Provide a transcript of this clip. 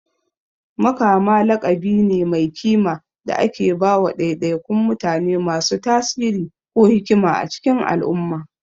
Makama laƙabi ne mai kima da ake ba wa ɗaiɗaikun mutane masu tasiri ko hikima a cikin al'umma.